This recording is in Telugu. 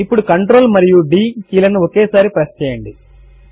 ఇప్పుడు Ctrl మరియు D కీ లను ఒకేసారి ప్రెస్ చేయండి